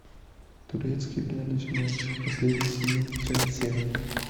турецкий для начинающих последний сезон часть семь